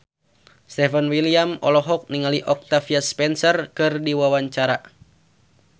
Stefan William olohok ningali Octavia Spencer keur diwawancara